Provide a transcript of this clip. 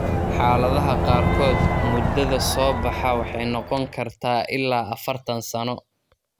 Xaaladaha qaarkood, muddada soo-baxa waxay noqon kartaa ilaa afartaan sano.